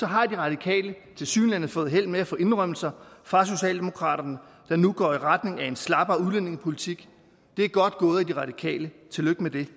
har de radikale tilsyneladende fået held med at få indrømmelser fra socialdemokraterne der nu går i retning af en slappere udlændingepolitik det er godt gået af de radikale tillykke med det